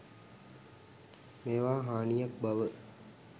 මේවා හානියක් බව